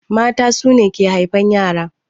Mata su ne ke haifan ƴara.